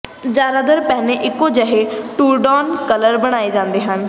ਜ਼ਿਆਦਾਤਰ ਪਹਿਨੇ ਇੱਕੋ ਜਿਹੇ ਟਰੂਡੌਨ ਕਾਲਰ ਨਾਲ ਬਣਾਏ ਜਾਂਦੇ ਹਨ